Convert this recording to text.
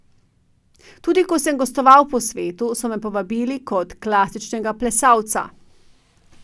Tudi ko sem gostoval po svetu, so me povabili kot klasičnega plesalca.